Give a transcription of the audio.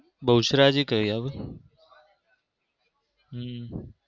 બહુચરાજી કઈ આવે હમ?